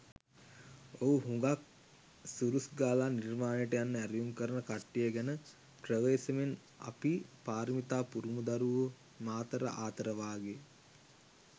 ඔය හුඟක් ‘සුරුස් ගාල නිර්වාණයට’යන්න ඇරයුම් කරන කට්ටිය ගැන ප්‍රවේසමෙන්.අපි පාරමිතා පුරමු දරුවෝ මාතර ආතර වාගේ.